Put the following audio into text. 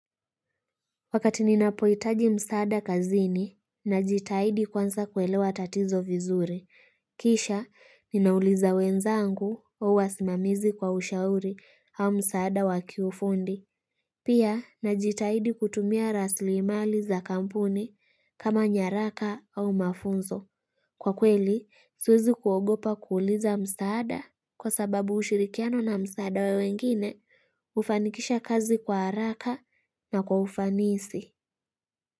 Wakati ninapohitaji msaada kazini, najitaidi kwanza kuelewa tatizo vizuri. Kisha, ninauliza wenzangu au wasimamizi kwa ushauri au msaada wa kiufundi. Pia, najitaidi kutumia raslimali za kampuni kama nyaraka au mafunzo. Kwa kweli, siwezi kuogopa kuuliza msaada kwa sababu ushirikiano na msaada wa wengine, hufanikisha kazi kwa haraka na kwa ufanisi.